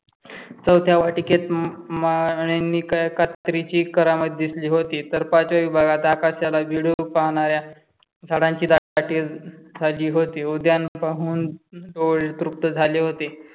चौथ्या वाटिकेत माळी नि कळ्या कात्रीची करामत दिसली होती. तर पाचव्या विभागात आकाशाला भिडून पाहणाऱ्या झाडांची दाटी झाली होती. उद्यान पाहून मन तृप्त झाले होते.